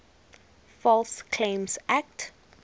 false claims act